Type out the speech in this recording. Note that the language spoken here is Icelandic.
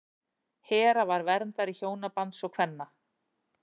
hera var verndari hjónabands og kvenna